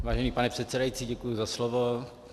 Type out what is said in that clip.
Vážený pane předsedající, děkuji za slovo.